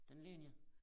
Den ligger ned